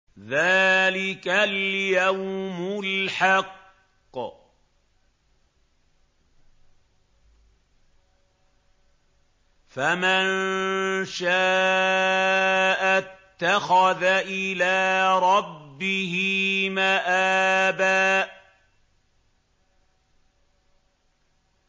ذَٰلِكَ الْيَوْمُ الْحَقُّ ۖ فَمَن شَاءَ اتَّخَذَ إِلَىٰ رَبِّهِ مَآبًا